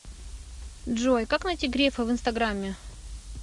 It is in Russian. джой как найти грефа в инстаграме